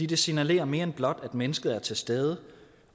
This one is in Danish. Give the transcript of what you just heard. det signalerer mere end blot det at mennesket er til stede